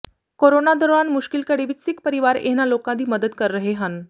corona ਦੌਰਾਨ ਮੁਸ਼ਕਿਲ ਘੜੀ ਵਿਚ ਸਿੱਖ ਪਰਿਵਾਰ ਇਹਨਾਂ ਲੋਕਾਂ ਦੀ ਮਦਦ ਕਰ ਰਹੇ ਹਨ